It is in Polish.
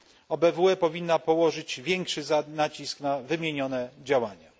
OBWE powinna położyć większy nacisk na wymienione działania.